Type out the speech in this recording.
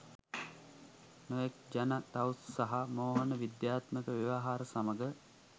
නොයෙක් ජන, තවුස් සහ මෝහන විද්‍යාත්මක ව්‍යවහාර සමඟ